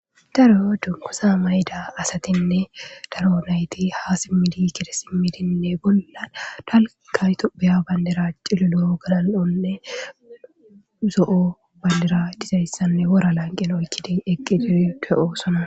Daro dunqusa mayda asatinne daro nayti ha simmidi kide simidinne bollan talkaytopeya bandira cilo loo gala'onne zo'o bandira dizayssanne wora lanqin oykkidi eqqi dir pe'oosona